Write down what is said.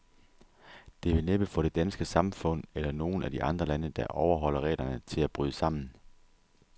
Det vil næppe få det danske samfund, eller nogen af de andre lande, der overholder reglerne, til at bryde sammen.